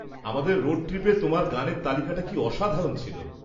আমাদের রোড ট্রিপে তোমার গানের তালিকাটা কি আসাধারণ ছিল।